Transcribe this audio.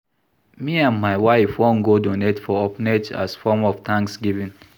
Me and my wife wan go donate for orphanage as form of thanksgiving